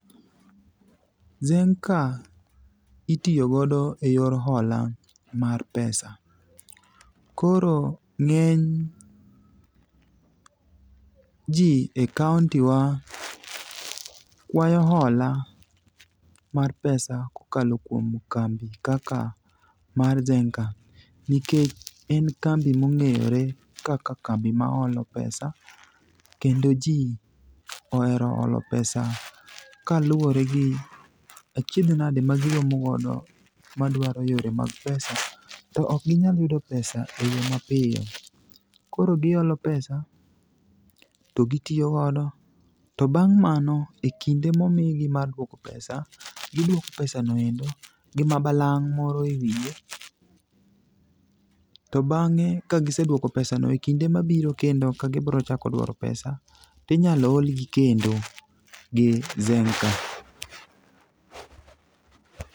Zenka itiyo godo e yo hola mar pesa .Koro ng'eny ji e kaontiwa kwayo hola mar pesa kokalo kuom kambi kaka mar Zenka nikech en kambi mong'ere kaka kambi maholo pesa, kendo ji ohero holo pesa kaluwore gi achiedh nadi magiromo godo madwaro yore mag pesa. To ok ginyal yudo pesa e yo mapiyo. Koro giholo pesa to gitiyo godo, to bang' mano e kinde momigi mar dwoko pesa. Gidwoko pesa no endo gi mabalang' moro e wiye. To bang'e ka gisedwoko pesano,e kinde mabiro kendo ka gibro chako dwaro pesa ,tinyalo hogi kendo gi zenka.